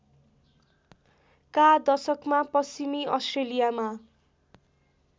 का दशकमा पश्चिमी अस्ट्रेलियामा